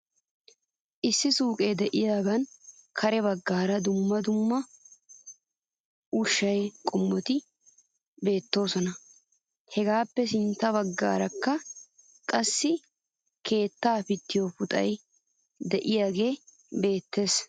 Issi suyqee de'iyaagan kare bagaara dumma dumma ushshaa qommoti beettoosona. Hegaappe sintta bagaarakka qassi keetta pittiyoo puxay de'iyaagee beettes .